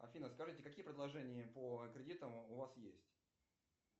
афина скажите какие предложения по кредитам у вас есть